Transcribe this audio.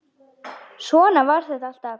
Svona var þetta alltaf.